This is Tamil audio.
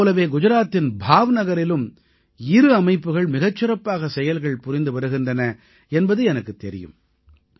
இதைப் போலவே குஜராத்தின் பாவ்நகரிலும் இரு அமைப்புகள் மிகச் சிறப்பான செயல்கள் புரிந்து வருகின்றன என்பது எனக்குத் தெரியும்